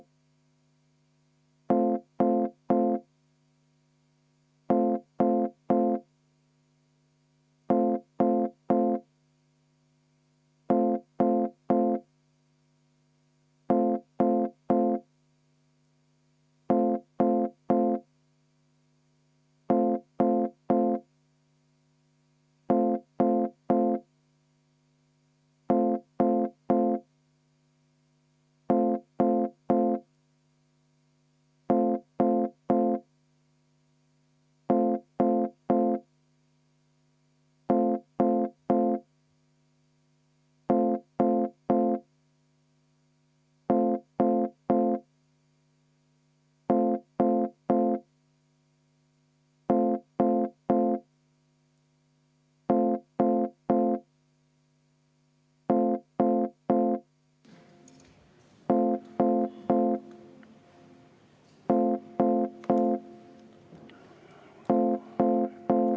V a h e a e g